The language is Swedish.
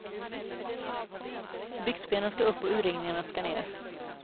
Byxbenen ska upp och urringningarna ska ner.